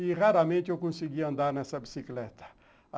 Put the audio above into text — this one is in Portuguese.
E raramente eu conseguia andar nessa bicicleta.